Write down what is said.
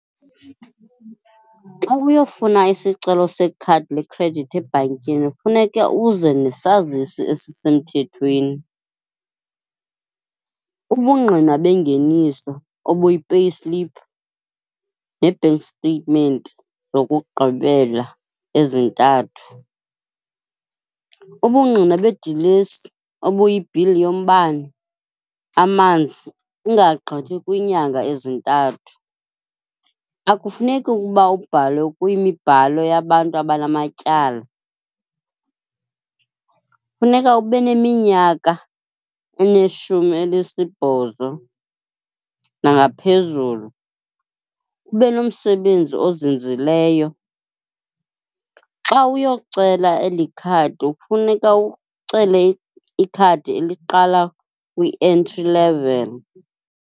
Xa uyofuna isicelo sekhadi lekhredithi ebhankini kufuneke uze nesazisi esisemthethweni, ubungqina bengeniso obuyi-payslip nee-bank statement zokugqibela ezintathu, ubungqina bedilesi obuyibhili yombane, amanzi, ungagqithi kwiinyanga ezintathu. Akufuneki ukuba ubhalwe kwimibhalo yabantu abanamatyala. Funeka ube neminyaka elishumi elinesibhozo nangaphezulu, ube nomsebenzi ozinzileyo. Xa uyocela eli khadi kufuneka ucele ikhadi eliqala kwi-entry level.